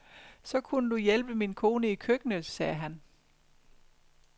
Så kunne du hjælpe min kone i køkkenet, sagde han.